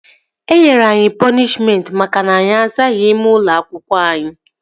Enyere anyị pọnishmentị maka na anyị azaghị ime ụlọ akwụkwọ anyị